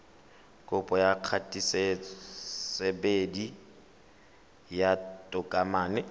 kopo ya kgatisosebedi ya tokomane